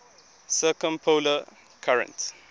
circumpolar current